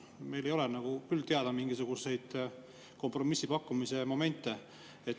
Meile ei ole küll teada mingisuguseid kompromissi pakkumise momente.